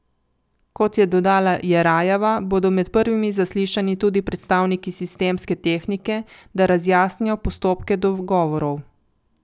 Kot je dodala Jerajeva, bodo med prvimi zaslišani tudi predstavniki Sistemske tehnike, da razjasnijo postopke dogovorov.